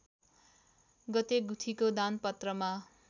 गते गुठीको दानपत्रमा